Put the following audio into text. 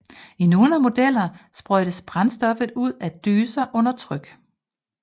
I nogle modeller sprøjtes brændstoffet ud af dyser under tryk